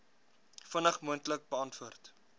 vinnig moontlik beantwoord